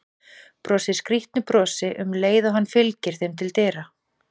Brosir skrýtnu brosi um leið og hann fylgir þeim til dyra.